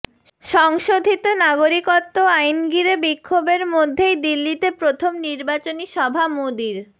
সংশোধিত নাগরিকত্ব আইন ঘিরে বিক্ষোভের মধ্যেই দিল্লিতে প্রথম নির্বাচনী সভা মোদির